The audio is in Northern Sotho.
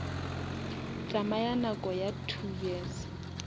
tsamaya nako ya two years